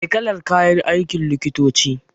Me kalar kayan aikin likitoci?